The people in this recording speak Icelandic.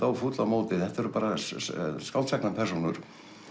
og fúll á móti þetta eru bara skáldsagnapersónur